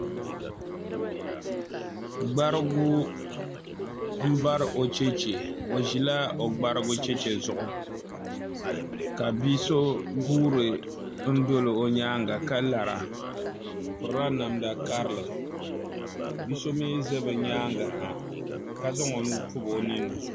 gbarigu m-bari o cheche o ʒila o gbarigu cheche zuɣu ka bi' so guura n-doli o nyaaŋga ka lara o pirila namda karili ka bi' so za bɛ nyaaŋga ha ka zaŋ o nuu pɔbi o nini ni